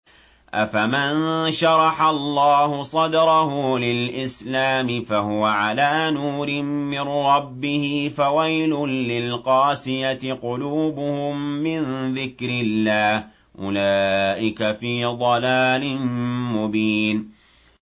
أَفَمَن شَرَحَ اللَّهُ صَدْرَهُ لِلْإِسْلَامِ فَهُوَ عَلَىٰ نُورٍ مِّن رَّبِّهِ ۚ فَوَيْلٌ لِّلْقَاسِيَةِ قُلُوبُهُم مِّن ذِكْرِ اللَّهِ ۚ أُولَٰئِكَ فِي ضَلَالٍ مُّبِينٍ